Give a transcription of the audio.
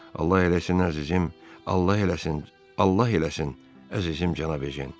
Allah eləsin əzizim, Allah eləsin, Allah eləsin, əzizim cənab Ejen.